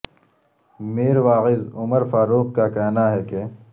میر واعظ عمر فاروق کا کہنا ہے کہ